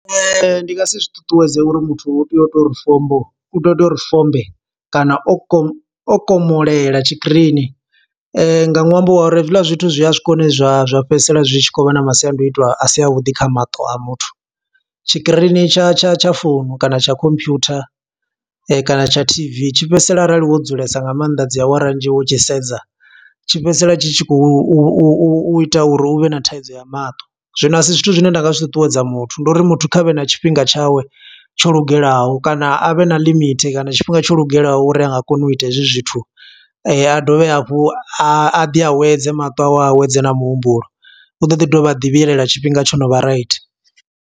Ndi nga si zwi ṱuṱuwedze uri muthu u tea u to uri fombo, u tea u to uri fombe kana o komo, o komolela tshikirini. Nga ṅwambo wa uri hezwiḽa zwithu zwi a swika hune zwa zwa fhedzisela zwi tshi khou vha na masiandoitwa a si a vhuḓi kha maṱo a muthu. Tshikirini tsha tsha tsha founu kana tsha computer, kana tsha T_V, tshi fhedzisela arali wo dzulesa nga maanḓa dzi awara nnzhi wo tshi sedza. Tshi fhedzisela tshi tshi khou u ita uri u vhe na thaidzo ya maṱo. Zwino a si zwithu zwine nda nga zwi ṱuṱuwedza muthu, ndi uri muthu kha vhe na tshifhinga tshawe tsho lugelaho, kana a vhe na limit. Kana tshifhinga tsho lugelaho uri a nga kona u ita hezwi zwithu, a dovhe hafhu a ḓi awedze maṱo awe, a awedze na muhumbulo. U ḓo ḓi dovha a ḓi vhuyelela tshifhinga tsho no vha right.